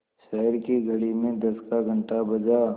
शहर की घड़ी में दस का घण्टा बजा